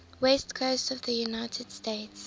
west coast of the united states